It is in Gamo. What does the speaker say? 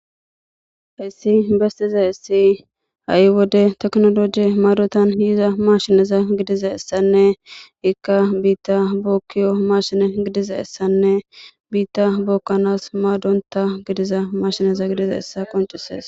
hessi bestize essi ha7i wode teknoloji maadotan yiiza mashineza gidiza essanne ikka biitta bookkiyo mashine gidiza essanne biitta bookkanas maadonta gidiza mashineza gidiza essa qoncisees